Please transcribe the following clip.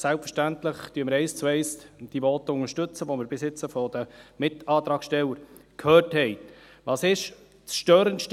Selbstverständlich unterstützen wir die Voten, die wir bis jetzt von den Mitantragstellern gehört haben, eins zu eins.